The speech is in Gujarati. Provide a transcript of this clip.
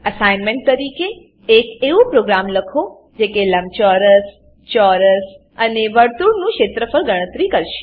એસાઇનમેંટ તરીકે એક એવું પ્રોગ્રામ લખો જે કે લંબચોરસ ચોરસ અને વર્તુળનું ક્ષેત્રફળ ગણતરી કરશે